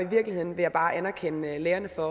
virkeligheden vil jeg bare anerkende lærerne for